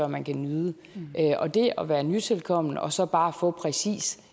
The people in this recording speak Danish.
man kan nyde og det at være nytilkommen og så bare få præcis